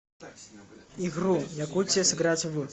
игру якутия сыграть в